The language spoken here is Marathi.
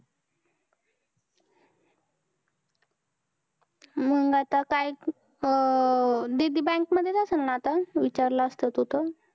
मंग आता काय अं दीदी bank मधेच असेल ना आता? विचारलं असतं तू तर.